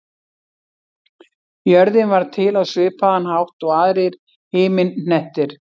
Jörðin varð til á svipaðan hátt og aðrir himinhnettir.